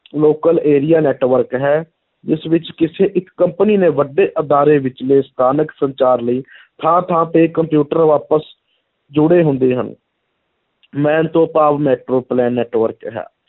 Local area network ਹੈ, ਇਸ ਵਿੱਚ ਕਿਸੇ ਇੱਕ company ਨੇ ਵੱਡੇ ਅਦਾਰੇ ਵਿਚਲੇ ਸਥਾਨਕ ਸੰਚਾਰ ਲਈ ਥਾਂ-ਥਾਂ ਤੇ ਕੰਪਿਊਟਰ ਆਪਸ ਜੁੜੇ ਹੁੰਦੇ ਹਨ MAN ਤੋਂ ਭਾਵ network ਹੈ,